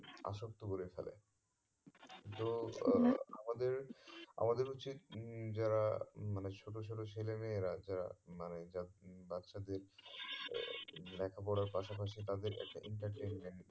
আসক্ত করে ফেলে তো আহ আমাদের আমাদের উচিত যারা মানে ছোট ছোট ছেলে মেয়েরা যারা মানে যা বাচ্ছাদের লেখা পড়ার পাশা পাশি তাদের entertainment